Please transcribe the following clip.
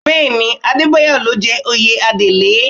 Bẹ́ẹ̀ ni, Adébáyọ̀ ló jẹ oyè Adelé